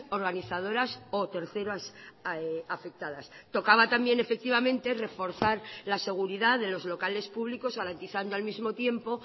organizadoras o terceras afectadas tocaba también efectivamente reforzar la seguridad de los locales públicos garantizando al mismo tiempo